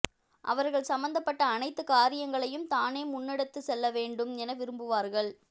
அவர்கள் சம்பந்தப்பட்ட அனைத்து காரியங்களையும் தானே முன்னெடுத்து செல்ல வேண்டும் என விரும்புவார்கள்